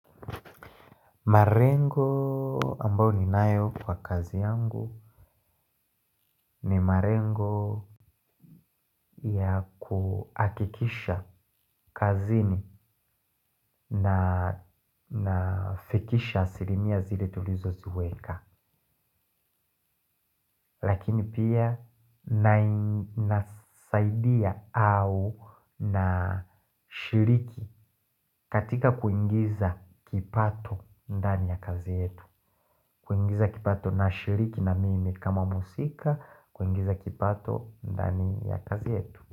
Marengo ambao ninayo kwa kazi yangu ni marengo ya kuakikisha kazini nafikisha asilimia zile tulizoziweka. Lakini pia nasaidia au nashiriki katika kuingiza kipato ndani ya kazi yetu. Kuingiza kipato nashiriki na mimi kama musika. Kuingiza kipato ndani ya kazi yetu.